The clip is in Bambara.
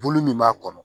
Bolo min b'a kɔnɔ